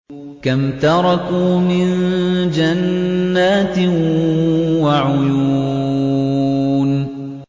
كَمْ تَرَكُوا مِن جَنَّاتٍ وَعُيُونٍ